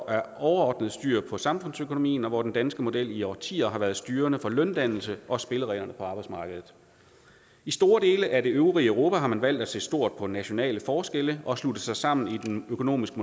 er overordnet styr på samfundsøkonomien og hvor den danske model i årtier har været styrende for løndannelsen og spillereglerne på arbejdsmarkedet i store dele af det øvrige europa har man valgt at se stort på nationale forskelle og slutte sig sammen i den økonomiske